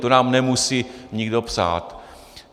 To nám nemusí nikdo psát.